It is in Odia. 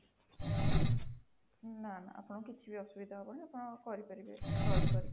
ନାଁ ନାଁ ଆପଣଙ୍କର କିଛି ବି ଅସୁବିଧା ହବନି ଆପଣ କରିପାରିବେ search କରିକି ସବୁ